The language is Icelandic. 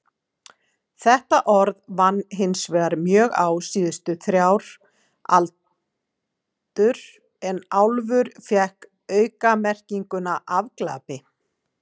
Þetta orð vann hinsvegar mjög á síðustu þrjár aldur en álfur fékk aukamerkinguna afglapi.